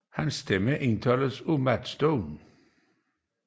Hans stemme indtales af Matt Stone